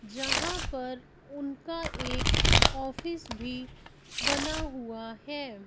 यहां पर उनका एक ऑफिस भी बना हुआ है।